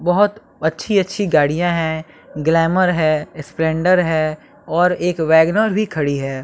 बहोत अच्छी अच्छी गाड़िया है ग्लैमर है स्प्लेंडर है और एक वेगनार भी खड़ी है।